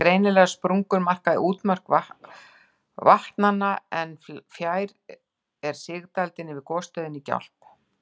Greinilegar sprungur marka útmörk vatnanna, en fjær er sigdældin yfir gosstöðinni í Gjálp.